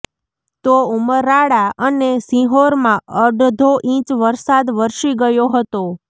તો ઉમરાળા અને સિહોરમાં અડધો ઈંચ વરસાદ વરસી ગયો હતો